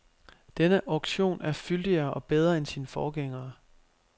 Denne auktion er fyldigere og bedre end sine forgængere.